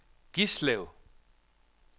Gislev